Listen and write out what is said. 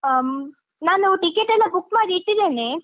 ಹ್ಮ್, ನಾನು ticket ಎಲ್ಲ book ಮಾಡಿ ಇಟ್ಟಿದ್ದೇನೆ.